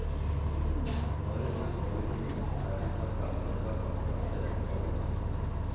Når de kommer ut, er de for gamle for akkurat denne rollen.